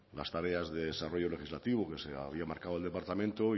las tareas de desarrollo legislativo que se había marcado el departamento